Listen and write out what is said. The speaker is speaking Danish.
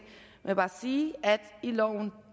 vil bare sige at i loven